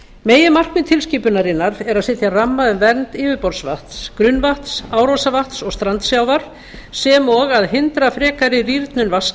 meginmarkmið tilskipunarinnar er að setja ramma um vernd yfirborðsvatns grunnvatns árósavatns og strandsjávar sem og að hindra frekari rýrnun